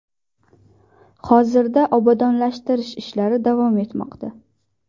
Hozirda obodonlashtirish ishlari davom etmoqda.